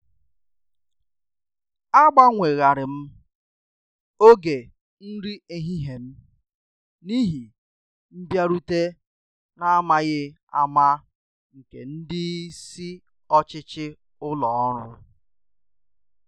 A gbanweghari m ògè nri ehihie m n’ihi mbịarute n’amaghị ama nke ndị isi ọchịchị ụlọ ọrụ